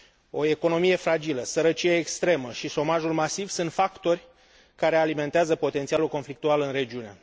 O economie fragilă, sărăcia extremă și șomajul masiv sunt factori care alimentează potențialul conflictual în regiune.